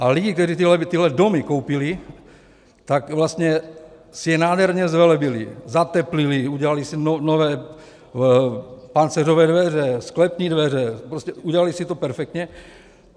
A lidé, kteří tyhle domy koupili, tak vlastně si je nádherně zvelebili - zateplili, udělali si nové pancéřové dveře, sklepní dveře, prostě udělali si to perfektně.